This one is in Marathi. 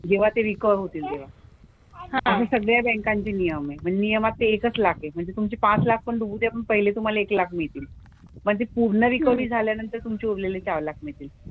जेव्हा ते रिकव्हर होतील तेव्हा. असे सगळ्या बँकांचे नियम आहेत. पण नियमात तर एकच लाख आहे. म्हणजे तुमचे पाच लाख पण डुबू द्या पण पहिले तुम्हाला एक लाख मिळतील. म्हणजे पूर्ण रिकव्हरी झाल्यानंतर तुमचे उरलेले चार लाख मिळतील.